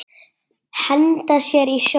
Henda sér í sjóinn?